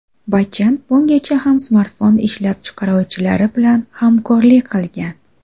Bachchan bungacha ham smartfon ishlab chiqaruvchilari bilan hamkorlik qilgan.